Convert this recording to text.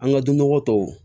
An ka dun nɔgɔ tɔw